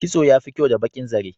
Kitso yafi kyau da baƙin zare.